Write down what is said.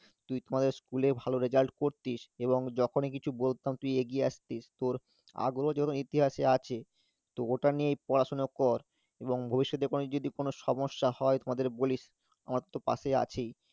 তুই তো আমাদের school এ ভালো result করতিস এবং যখনই কিছু বলতাম তুই এগিয়ে আসতিস, তোর আগ্রহ যেমন ইতিহাসে আছে তো ওটা নিয়ে পড়াশোনা কর এবং ভবিষ্যতে কোনো যদি কোন সমস্যা হয় তো আমাদের বলিস আমার তো পাশেই আছেই,